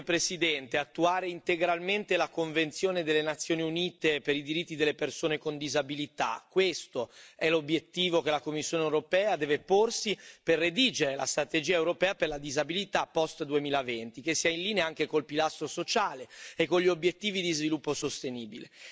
Signor Presidente, onorevoli colleghi, attuare integralmente la Convenzione delle Nazioni Unite sui diritti delle persone con disabilità, questo è l'obiettivo che la Commissione europea deve porsi per redigere la strategia europea per la disabilità post 2020, che sia in linea anche con il pilastro sociale e con gli obiettivi di sviluppo sostenibile.